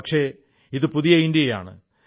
പക്ഷേ ഇതു പുതിയ ഇന്ത്യയാണ്